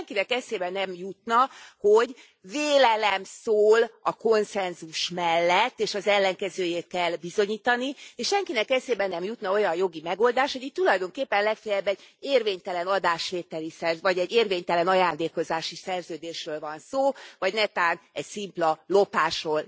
És senkinek eszébe nem jutna, hogy vélelem szól a konszenzus mellett és az ellenkezőjét kell bizonyítani, és senkinek eszébe nem jutna olyan jogi megoldás, hogy itt tulajdonképpen legfeljebb egy érvénytelen adásvételi, vagy egy érvénytelen ajándékozási szerződésről van szó, vagy netán egy szimpla lopásról.